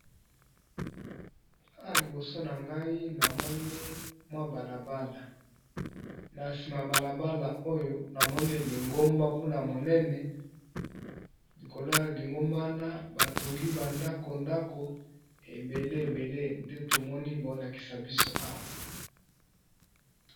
Awa liboso na ngai namoni mwa bala bala na sima bala bala oyo namoni lingomba kuna monene likolo ya lingomba na ba tongi ba ndako ndako ebele ebele nde tomoni bao lakisa biso awa.